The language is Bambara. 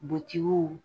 Butigiw